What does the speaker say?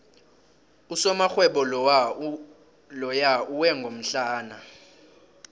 usomarhwebo loya uwe ngomhlana